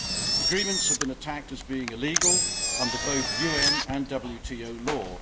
The agreements have been attacked as being illegal under both UN and WTO law.